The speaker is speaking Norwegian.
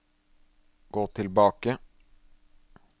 gå tilbake